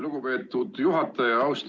Lugupeetud juhataja!